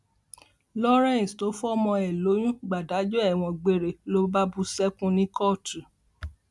lawrence tó fọmọ ẹ lóyún gbàdájọ ẹwọn gbére ló bá bú sẹkún ní kóòtù